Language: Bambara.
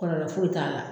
Kɔlɔlɔ foyi t'a la